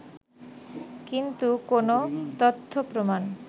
কিন্তু কোন তথ্যপ্রমাণ